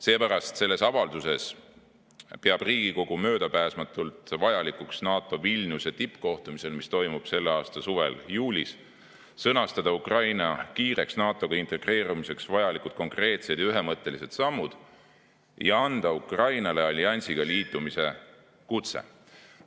Seepärast selles avalduses peab Riigikogu möödapääsmatult vajalikuks NATO Vilniuse tippkohtumisel, mis toimub selle aasta suvel, juulis, sõnastada Ukraina kiireks NATO-ga integreerumiseks vajalikud konkreetsed ja ühemõttelised sammud ning anda Ukrainale alliansiga liitumise kutse.